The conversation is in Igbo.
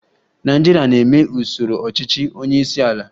Nigeria na-eme usoro ọchịchị onye isi ala